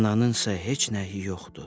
Ananısa heç nəyi yoxdur.